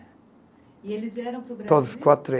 E eles vieram para o. Todos quatro